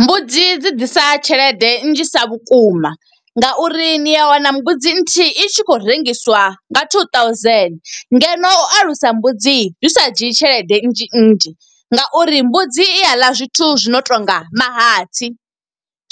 Mbudzi dzi ḓisa tshelede nnzhisa vhukuma, nga uri ni a wana mbudzi nthihi i tshi khou rengiswa nga two thousand. Ngeno u alusa mbudzi zwi sa dzhii tshelede nnzhi nnzhi, nga uri mbudzi i a ḽa zwithu zwi no tonga mahatsi,